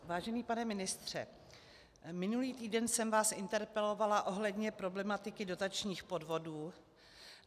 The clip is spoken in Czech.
Vážený pane ministře, minulý týden jsem vás interpelovala ohledně problematiky dotačních podvodů.